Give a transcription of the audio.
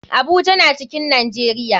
Abuja na cikin nijeria.